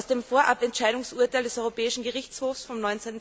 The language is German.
Aus dem Vorabentscheidungsurteil des Europäischen Gerichtshofs vom